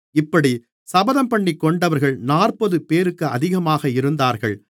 இப்படிச் சபதம்பண்ணிக்கொண்டவர்கள் நாற்பதுபேருக்கு அதிகமாக இருந்தார்கள்